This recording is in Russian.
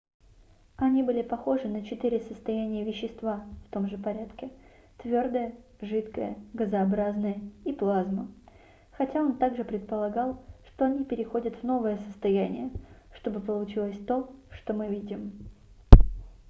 они были похожи на четыре состояния вещества в том же порядке: твердое жидкое газообразное и плазма хотя он также предполагал что они переходят в новое состояние чтобы получилось то что мы видим